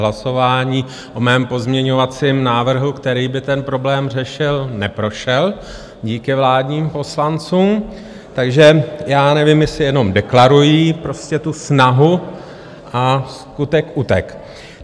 Hlasování o mém pozměňovacím návrhu, který by ten problém řešil, neprošel díky vládním poslancům, takže já nevím, jestli jenom deklarují prostě tu snahu, a skutek utek.